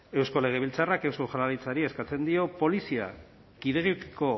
eusko legebiltzarrak eusko jaurlaritzari eskatzen dio polizia kidego